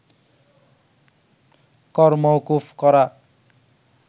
কর মওকুফ করা